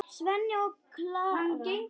Svenni og Klara!